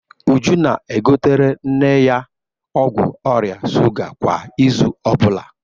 Uju na-egotere nne ya ọgwụ ọrịa shuga kwa izu ọ bụla.